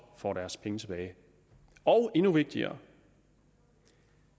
får deres penge tilbage og endnu vigtigere